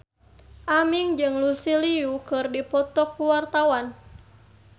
Aming jeung Lucy Liu keur dipoto ku wartawan